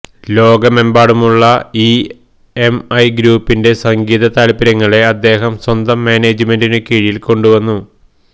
ലോകമെമ്പാടുമുള്ള ഇഎംഐ ഗ്രൂപ്പിന്റെ സംഗീത താൽപര്യങ്ങളെ അദ്ദേഹം സ്വന്തം മാനേജ്മെന്റിനു കീഴിൽ കൊണ്ടുവന്നു